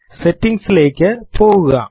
settings ലേക്ക് പോകുക